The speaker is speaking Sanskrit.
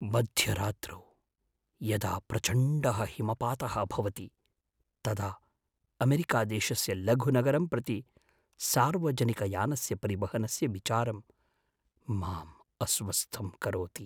मध्यरात्रौ यदा प्रचण्डः हिमपातः भवति तदा अमेरिकादेशस्य लघुनगरं प्रति सार्वजनिकयानस्य परिवहनस्य विचारं माम् अस्वस्थं करोति।